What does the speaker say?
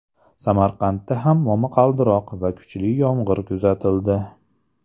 Samarqandda ham momaqaldiroq va kuchli yomg‘ir kuzatildi.